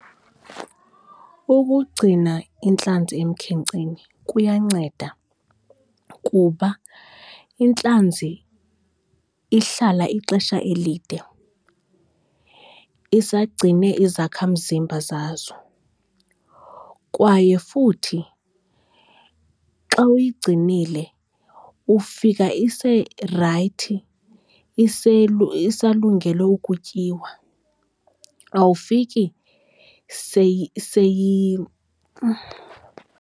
Ukugcina intlanzi emkhenkceni kuyanceda kuba intlanzi ihlala ixesha elide isagcine izakhamzimba zazo. Kwaye futhi xa uyigcinile ufika iserayithi isalungele ukutyiwa awufiki